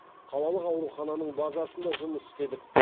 қалалық аурухананың базасында жұмыс істедік